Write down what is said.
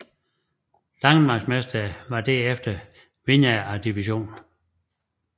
Danmarksmestrene var derefter vinderne af divisionen